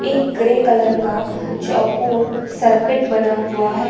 एक grey colour का चौकोर सर्किट बना हुआ है।